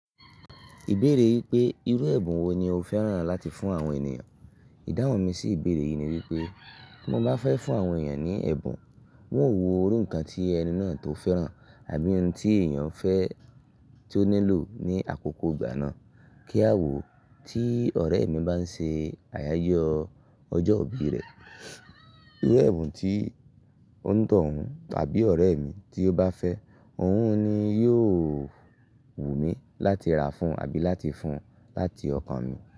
Ìbéèrè wípé, irú ẹ̀bùn wo ni o fẹ́ràn láti fún àwọn ènìyàn? Ìdáhùn mi sì ìbéèrè yìí ni wípé, bi mo ba fẹ́ fún àwọn ènìyàn ní ẹ̀bùn, n ó wo irú nkàn tí ẹni náà tó fẹ́ràn àbí ohun tí ènìyàn fẹ́ tí ó nílò ní àkókò ìgbà náà. Kí a wò ó, tí ọ̀rẹ́ mi bá ń ṣe àyájó ọjọ́ ìbí rẹ̀, irú ẹ̀bùn tí onítọ̀hún tàbí ọ̀rẹ́ mi tí ó bá fẹ́, òun ni yóò wù mí láti ra fún un àbí láti fún un láti ọkàn mi.